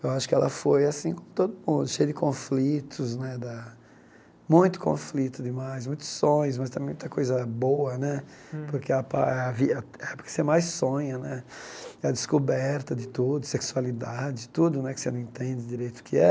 Eu acho que ela foi assim com todo mundo, cheia de conflitos né da, muito conflito demais, muitos sonhos, mas também muita coisa boa né, porque a pa a vi porque você mais sonha né, a descoberta de tudo, sexualidade, tudo né que você não entende direito o que é,